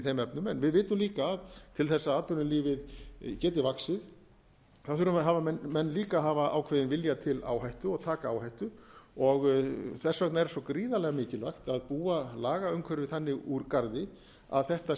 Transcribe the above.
þeim efnum en við vitum líka að til þess að atvinnulífið geti vaxið þurfa menn líka að hafa ákveðinn vilja til áhættu og taka áhættu þess vegna er svo gríðarlega mikilvægt að búa lagaumhverfið þannig úr garði að þetta